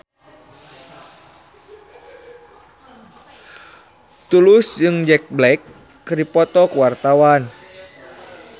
Tulus jeung Jack Black keur dipoto ku wartawan